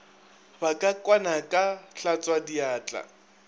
ba ka kwana ka hlatswadiatla